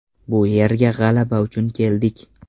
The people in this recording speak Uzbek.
Bu yerga g‘alaba uchun keldik.